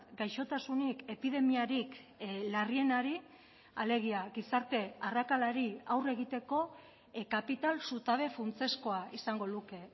gaixotasunik epidemiarik larrienari alegia gizarte arrakalari aurre egiteko kapital zutabe funtsezkoa izango luke